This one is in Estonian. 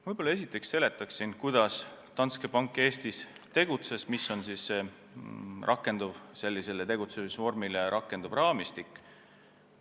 Võib-olla ma esiteks seletan, kuidas Danske Bank Eestis tegutses ja milline on sellise tegutsemisvormi korral rakenduv raamistik.